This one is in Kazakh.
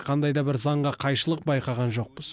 қандай да бір заңға қайшылық байқаған жоқпыз